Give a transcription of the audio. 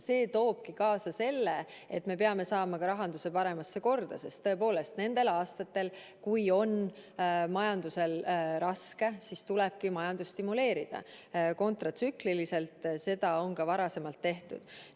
See toobki kaasa selle, et me peame saama ka rahanduse paremasse korda, sest nendel aastatel, kui majanduses on raske, tulebki majandust kontratsükliliselt stimuleerida ja seda on ka varasemalt tehtud.